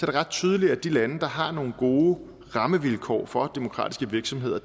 det ret tydeligt at de lande der har nogle gode rammevilkår for demokratiske virksomheder